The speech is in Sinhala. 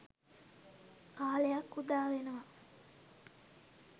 කාලයක් උදා වෙනවා.